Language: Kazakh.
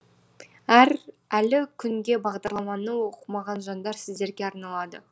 әлі күнге бағдарламаны оқымаған жандар сіздерге арналады